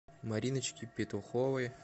мариночке петуховой